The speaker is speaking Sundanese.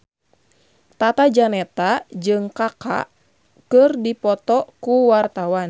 Tata Janeta jeung Kaka keur dipoto ku wartawan